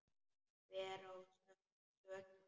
Hver á sökina?